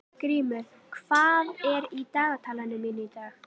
Grímur, hvað er í dagatalinu mínu í dag?